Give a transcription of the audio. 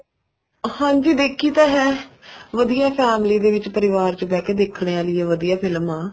ਹਾਂਜੀ ਦੇਖੀ ਤਾਂ ਹੈਂ ਵਧੀਆ family ਦੇ ਵਿੱਚ ਪਰਿਵਾਰ ਦੇ ਵਿੱਚ ਬਹਿ ਕੇ ਦੇਖਣ ਆਲੀ ਵਧੀਆ ਫਿਲਮ ਆ